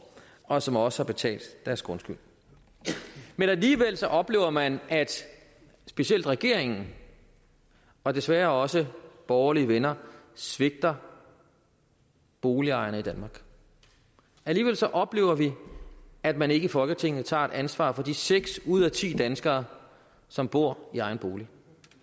og som også har betalt deres grundskyld men alligevel oplever man at specielt regeringen og desværre også borgerlige venner svigter boligejerne i danmark alligevel oplever vi at man ikke i folketinget tager et ansvar for de seks ud af ti danskere som bor i egen bolig